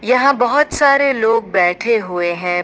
यहां बहोत सारे लोग बैठे हुए हैं।